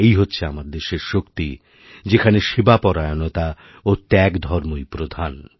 এই হচ্ছে আমার দেশের শক্তি যেখানেসেবা পরায়ণতা ও ত্যাগ ধর্মই প্রধান